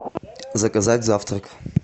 заказать завтрак